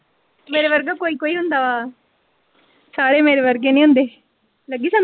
ਮੇਰੇ ਵਰਗਾ ਕੋਈ ਕੋਈ ਹੁੰਦਾ ਵਾ ਸਾਰੇ ਮੇਰੇ ਵਰਗੇ ਨਹੀਂ ਹੁੰਦੇ ਲੱਗੀ ਸਮਝ।